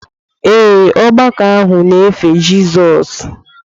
Ee, ọgbakọ ahụ na-efe Jizọs.